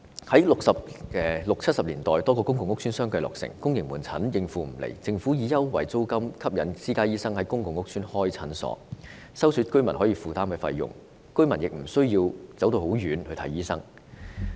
1960年代、1970年代多個公共屋邨相繼落成，由於公營門診未能應付需求，政府便以優惠租金吸引私家醫生在公共屋邨開設診所，收取居民可負擔的診金，居民求診亦無需長途跋涉。